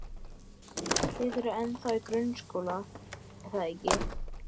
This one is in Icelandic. Þið eruð ennþá í grunnskóla, er það ekki?